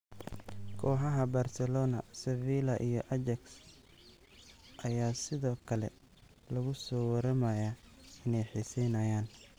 Kooxaha Barcelona, Sevilla iyo Ajax ayaa sidoo kale lagu soo waramayaa inay xiiseynayaan.